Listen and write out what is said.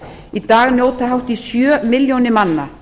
í dag njóta hátt í sjö milljónir manna